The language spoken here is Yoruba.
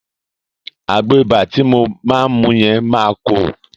Àgbo ibà ti mo máa mu yẹn máa korò.